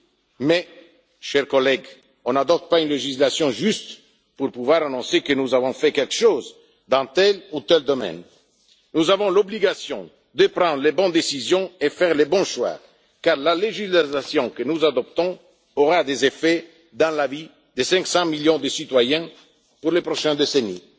Néanmoins, chers collègues, nous n'adoptons pas une législation simplement pour pouvoir annoncer que nous avons fait quelque chose dans tel ou tel domaine. Nous avons l'obligation de prendre les bonnes décisions et de faire les bons choix, car la législation que nous adoptons aura des effets sur la vie de 500 millions de citoyens pour les prochaines décennies.